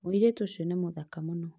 Mũirĩtu ũcio nĩ mũthaka mũno